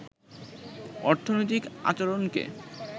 অর্থনৈতিক আচরণকে